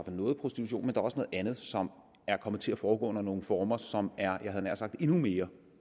noget af prostitutionen også noget andet som er kommet til at foregå under nogle former som er jeg havde nær sagt endnu mere